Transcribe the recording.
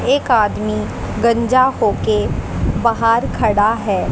एक आदमी गंजा हो के बाहर खड़ा है।